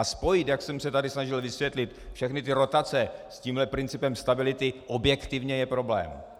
A spojit, jak jsem se tady snažil vysvětlit, všechny ty rotace s tímhle principem stability, objektivně je problém.